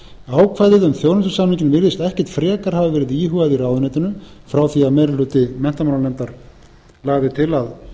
um þjónustusamninginn virðist ekkert frekar hafa verið íhugað í ráðuneytinu frá því að meiri hluti menntamálanefndar lagði til að